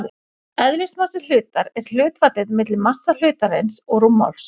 Eðlismassi hlutar er hlutfallið milli massa hlutarins og rúmmáls.